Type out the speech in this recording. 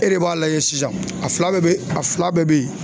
E de b'a lajɛ sisan a fila bɛɛ bɛ a fila bɛɛ bɛ ye